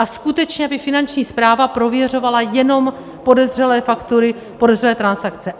A skutečně by Finanční správa prověřovala jenom podezřelé faktury, podezřelé transakce.